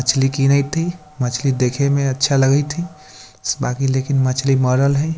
मछली किनैत हई मछली देखे में अच्छा लगत हई बाकि लेकिन मछली मरल हई।